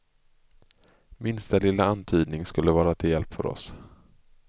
Minsta lilla antydning skulle vara till hjälp för oss.